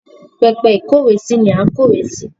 Pẹpẹ ìkówèésí ni à ń kó ìwé sí.